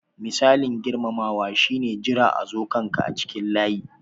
Misalin girmamawa shi ne jira a zo kan ka a cikin layi.